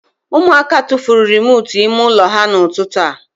Ụmụaka tufuru remootu ime ụlọ ha n'ụtụtụ a